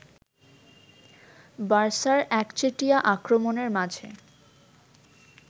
বার্সার একচেটিয়া আক্রমণের মাঝে